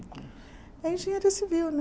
É engenharia civil, né?